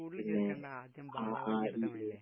സ്കൂളില് ചേർക്കേണ്ട, ആദ്യം ബാലവാടിയില് ചേർത്താൽ മതീല്ലേ?